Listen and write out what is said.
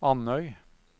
Andøy